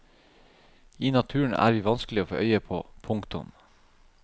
I naturen er vi vanskelige å få øye på. punktum